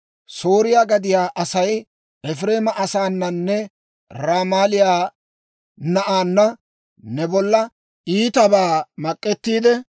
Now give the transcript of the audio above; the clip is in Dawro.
« ‹Sooriyaa gadiyaa Asay Efireema asaananne Ramaaliyaa na'aanna ne bolla iitabaa mak'ettiide,